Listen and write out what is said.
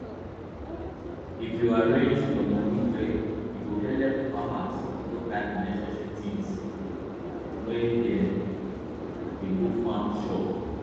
if yu arrange yua money well e go helep farmers no buy unnecessary tins when dem dey go farm shop